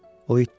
O itdi?